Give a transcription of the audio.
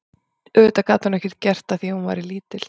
Auðvitað gat hún ekkert gert að því að hún væri lítil.